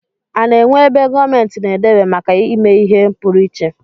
A na-enwe ebe gomenti na-edebe make ime ihe puruiche?